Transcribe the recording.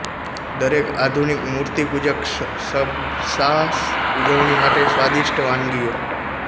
દરેક આધુનિક મૂર્તિપૂજક સબ્સાસ ઉજવણી માટે સ્વાદિષ્ટ વાનગીઓ